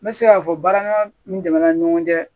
N bɛ se k'a fɔ barama min tɛmɛna ni ɲɔgɔn cɛ